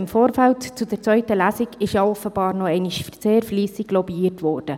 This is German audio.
Im Vorfeld zur zweiten Lesung ist offenbar noch einmal sehr fleissig lobbyiert worden.